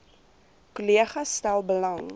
kollegas stel belang